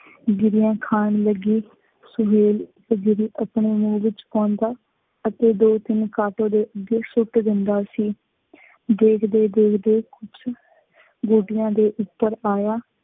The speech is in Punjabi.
ਗਿਰੀਆਂ ਖਾਣ ਲੱਗੀ। ਸੁਹੇਲ ਇੱਕ ਗਿਰੀ ਆਪਣੇ ਮੂੰਹ ਵਿਚ ਪਾਉਂਦਾ ਅਤੇ ਦੋ ਤਿੰਨ ਕਾਟੋਂ ਦੇ ਅੱਗੇ ਸੁੱਟ ਦਿੰਦਾ ਸੀ। ਦੇਖਦੇ, ਦੇਖਦੇ ਕੁੱਛ ਗੋਟੀਆਂ ਦੇ ਉਪਰ ਆਇਆ,